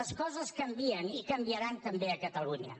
les coses canvien i canviaran també a catalunya